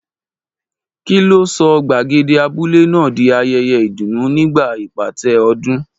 Kí ló sọ gbàgede abúlé náà di ayẹyẹ ìdùnnú nígbà ìpàtẹ ọdọọdún?